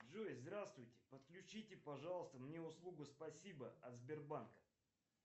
джой здравствуйте подключите пожалуйста мне услугу спасибо от сбербанка